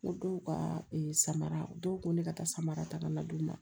Ko dɔw ka ee samara u dɔw ko ne ka taa samara ta ka na d'u ma